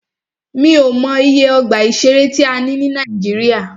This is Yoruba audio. Mí ò mọ iye ọgbà ìṣẹ̀rẹ́ tí a ní ní Nàíjíríà.